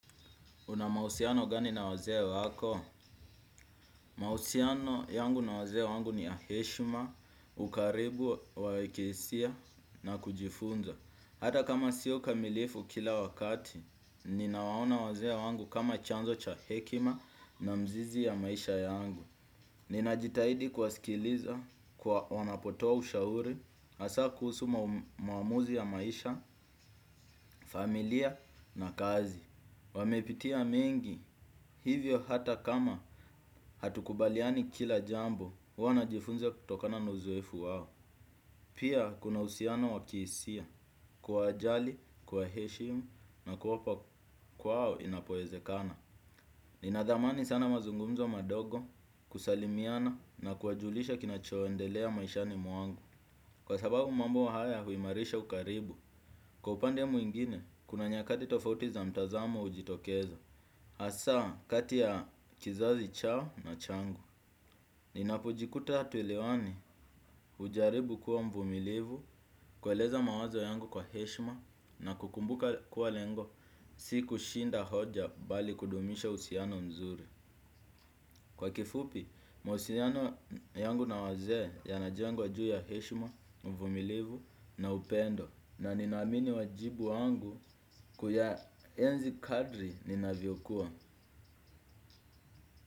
Una mahusiano gani na wazee wako? Mahusiano yangu na wazee wangu ni ya heshima, ukaribu, wawekesia na kujifunza. Hata kama sio kamilifu kila wakati, ninawaona wazee wangu kama chanzo cha hekima na mzizi ya maisha yangu. Ninajitahidi kuwasikiliza kwa wanapotoa ushauri, hasa kuhusu maamuzi ya maisha, familia na kazi. Wamepitia mengi hivyo hata kama hatukubaliani kila jambo huwa najifunza kutokana na uzoefu wao. Pia kuna uhusiano wakihisia kuwa jali, kuwa heshimu na kwa opa kwao inapoeze kana. Ninadhamani sana mazungumzo madogo kusalimiana na kuwajulisha kinacho endelea maishani mwangu. Kwa sababu mambo haya huimarisha ukaribu, kwa upande mwingine kuna nyakati tofauti za mtazamo hujitokeza hasa kati ya kizazi chao na changu. Ninapojikuta hatuelewani hujaribu kuwa mvumilivu kweleza mawazo yangu kwa heshima na kukumbuka kuwa lengo siku shinda hoja bali kudumisha uhusiano mzuri. Kwa kifupi, mawasiliano yangu na wazee yana jengwa juu ya heshima, uvumilivu na upendo. Na nina amini wajibu wangu kuya enzi kadri ninaviokua.